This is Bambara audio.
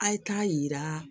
A' ye taa yira